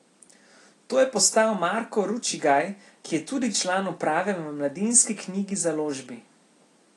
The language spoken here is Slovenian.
To je postal Marko Ručigaj, ki je tudi član uprave v Mladinski knjigi založbi.